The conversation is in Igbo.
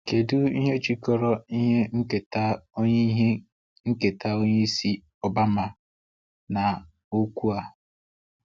Kedu ihe jikọrọ ihe nketa onye ihe nketa onye isi Obama na okwu a?